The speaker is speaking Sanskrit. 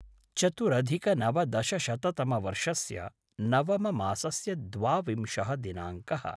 चतुरधिकनवदशशततमवर्षस्य नवममासस्य द्वाविंशः दिनाङ्कः